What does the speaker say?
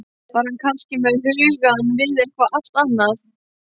Var hann kannski með hugann við eitthvað allt annað?